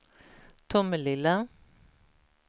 Tomelilla